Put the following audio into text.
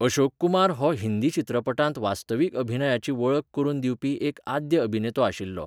अशोक कुमार हो हिंदी चित्रपटांत वास्तवीक अभिनयाची वळख करून दिवपी एक आद्य अभिनेतो आशिल्लो.